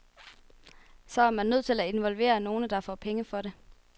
Så er man nødt til at involvere nogle, der får penge for det.